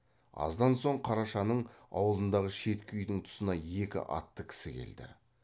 аздан соң қарашаның аулындағы шеткі үйдің тұсына екі атты кісі келді